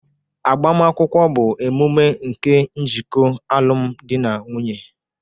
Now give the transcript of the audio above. Agbamakwụkwọ bụ emume nke njikọ alụmdi na nwunye